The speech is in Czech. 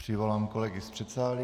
Přivolám kolegy z předsálí.